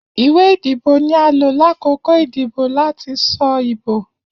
Iwe idibo ni a lo lakoko idibo lati sọ ibo.